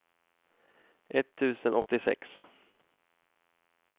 etttusen åttiosex